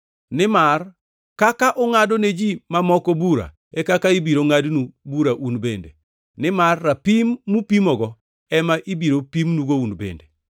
Nimar kaka ungʼado ne ji mamoko bura e kaka ibiro ngʼadnu bura un bende, nimar rapim mupimogo ema ibiro pimnugo un bende.